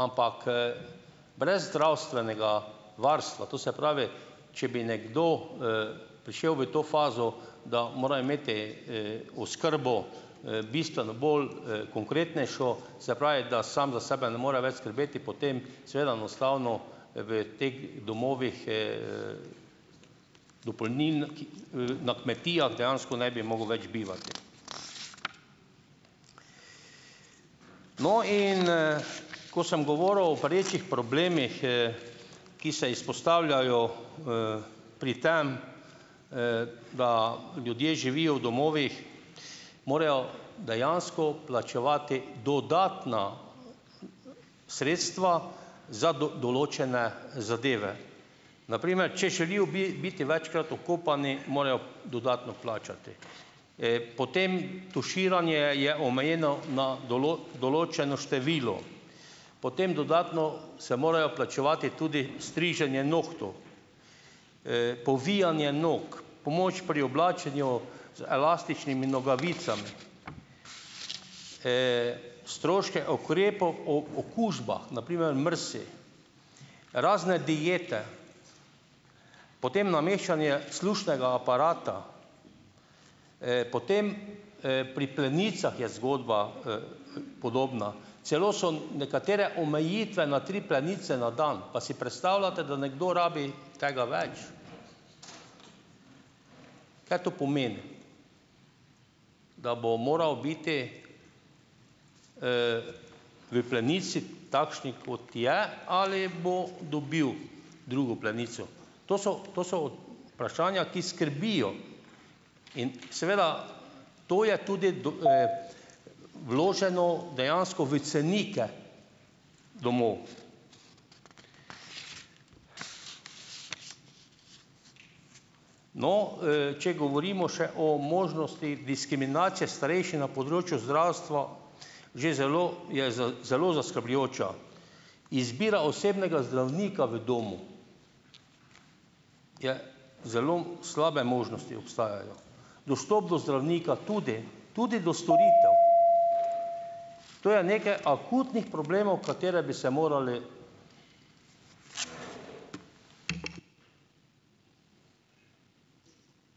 ampak, brez zdravstvenega varstva. To se pravi, če bi nekdo, prišel v to fazo, da mora imeti, oskrbo, bistveno bolj, konkretnejšo, se pravi, da sam za sebe ne more več skrbeti, potem seveda enostavno v teh domovih, na kmetijah, dejansko ne bi mogel več bivati. No in, , ko sem govoril o perečih problemih, ki se izpostavljajo, pri tem, da ljudje živijo v domovih, morajo dejansko plačevati dodatna sredstva za določene zadeve. Na primer, če želijo biti večkrat okopani, morajo dodatno plačati. Potem tuširanje je omejeno na določeno število, potem dodatno se morajo plačevati tudi striženje nohtov, povijanje nok, pomoč pri oblačenju z elastičnimi nogavicami, stroške ukrepov o okužbah, na primer MRSI, razne diete, potem nameščanje slušnega aparata, potem pri plenicah je zgodba, podobna. Celo so nekatere omejitve na tri plenice na dan. Pa si predstavljate, da nekdo rabi tega več? Kaj to pomeni? Da bo moral biti, v plenici, takšni kot je, ali bo dobil drugo plenico? To so to so ki skrbijo in seveda to je tudi vloženo dejansko v cenike domov. No, če govorimo še o možnosti diskriminacije starejših na področju zdravstva, že zelo je zelo zaskrbljujoča. Izbira osebnega zdravnika v domu. Ja, zelo slabe možnosti obstajajo. Dostop do zdravnika tudi, tudi do storitev . To je nekaj akutnih problemov, katere bi se morali ...